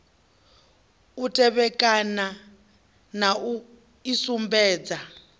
u tevhekana na u isumbedza